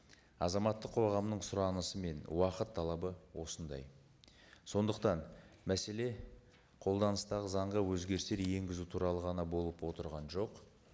азаматтық қоғамның сұранысы мен уақыт талабы осындай сондықтан мәселе қолданыстағы заңға өзгерістер енгізу туралы ғана болып отырған жоқ